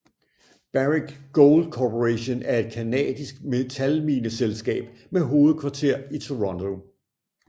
Barrick Gold Corporation er et canadisk metalmineselskab med hovedkvarter i Toronto